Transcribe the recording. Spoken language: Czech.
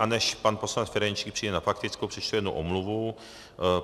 A než pan poslanec Ferjenčík přijde na faktickou, přečtu jednu omluvu.